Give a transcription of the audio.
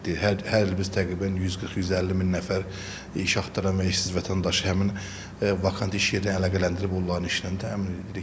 Hər il biz təqribən 140-150 min nəfər iş axtaran və işsiz vətəndaşı həmin vakant iş yerinə əlaqələndirib onların işlə təmin edirik.